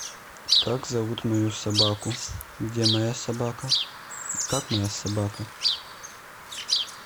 как зовут мою собаку где моя собака и как моя собака